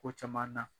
Ko caman na